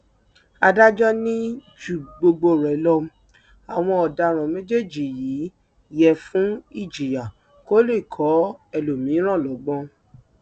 adájọ ní ju gbogbo rẹ lọ àwọn ọdaràn méjèèjì yìí yẹ fún ìjìyà kó lè kọ ẹlòmíràn lọgbọn